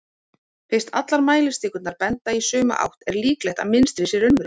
fyrst allar mælistikurnar benda í sömu átt er líklegt að mynstrið sé raunverulegt